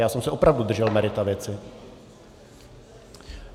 Já jsem se opravdu držel merita věci.